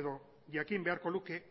edo jakin beharko luke